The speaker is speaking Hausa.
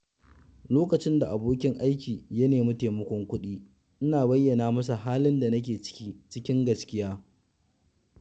Lokacin da abokin aiki ya nema taimakon kuɗi, ina bayyana masa halin da nake ciki cikin gaskiya.